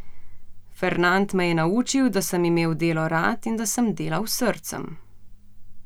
Fernand me je naučil, da sem imel delo rad in da sem delal s srcem.